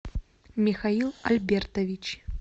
михаил альбертович